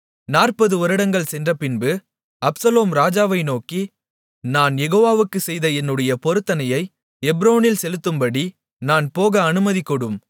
நாற்பது வருடங்கள் சென்றபின்பு அப்சலோம் ராஜாவை நோக்கி நான் யெகோவாவுக்கு செய்த என்னுடைய பொருத்தனையை எப்ரோனில் செலுத்தும்படி நான் போக அனுமதிகொடும்